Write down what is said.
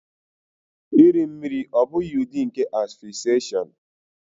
Iri mmiri ọ́ bụghị ụdị nke asphyxiation?